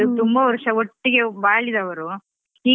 ಅವ್ರು ತುಂಬ ವರ್ಷ ಒಟ್ಟಿಗೆ ಬಾಳಿದವರು.